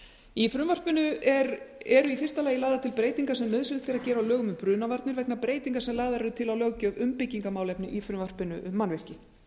í frumvarpinu eru í fyrsta lagi lagðar til breytingar sem nauðsynlegt er að gera á lögum um brunavarnir vegna breytinga sem lagðar eru til á löggjöf um byggingarmálefni í frumvarpinu um mannvirki auk